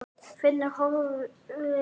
Finnur horfði út.